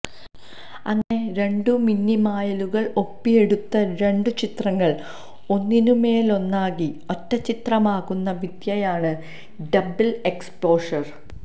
അങ്ങനെ രണ്ടു മിന്നിമായലുകൾ ഒപ്പിയെടുത്ത രണ്ടു ചിത്രങ്ങൾ ഒന്നിനുമേലൊന്നാക്കി ഒറ്റച്ചിത്രമാക്കുന്ന വിദ്യയാണ് ഡബ്ൾ എക്സ്പോഷർ